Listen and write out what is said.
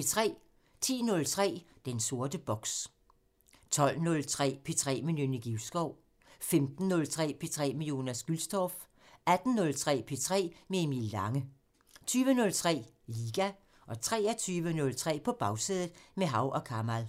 10:03: Den sorte boks 12:03: P3 med Nynne Givskov 15:03: P3 med Jonas Gülstorff 18:03: P3 med Emil Lange 20:03: Liga 23:03: På Bagsædet – med Hav & Kamal